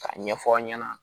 K'a ɲɛfɔ aw ɲɛna